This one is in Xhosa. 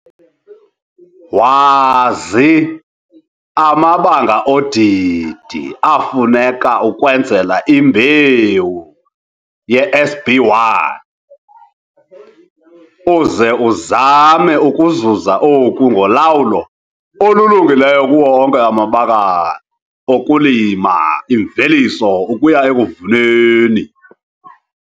Wazi amabanga odidi afuneka ukwenzela imbewu yeSB1 uze uzame ukuzuza oku ngolawulo olulungileyo kuwo onke amabakala okulima imveliso ukuya ekuyivuneni